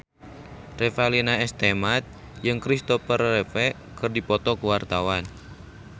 Revalina S. Temat jeung Christopher Reeve keur dipoto ku wartawan